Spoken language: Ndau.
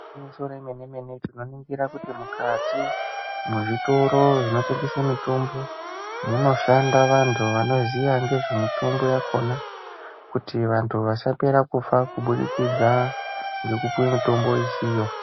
Remene mene tinoningira kuti mukati mezvitoro zvotengeswa mitombo munoshanda vanhu vanoziya ngezvemitombo ere kuti vanhu vasapera kufa kubirikidza ngekupiwa murombo isiyo.